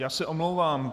Já se omlouvám.